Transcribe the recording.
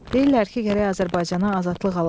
Deyirlər ki, gərək Azərbaycana azadlıq alaq.